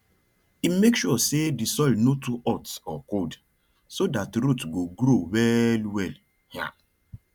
e make sure say the soil no too hot or cold so that root go grow well well um